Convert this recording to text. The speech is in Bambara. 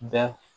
Bɛ